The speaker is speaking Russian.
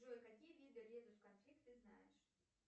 джой какие виды резус конфликт ты знаешь